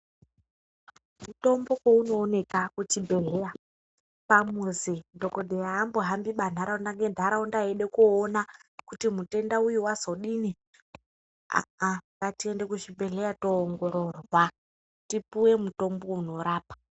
Mutombo pounooneka kuchibhedhleya, pamuzi dhokodheya haambohambiba ntaraunda ngentaraunda eide koona kuti mutenda uyu wazodini. Ah ah, ngatiende kuzvibhedhleya toongororwa, tipuwe mutombo unorapa.